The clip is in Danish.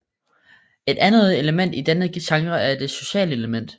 Et andet element i denne genre er det sociale element